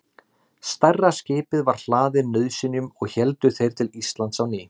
stærra skipið var hlaðið nauðsynjum og héldu þeir til íslands á ný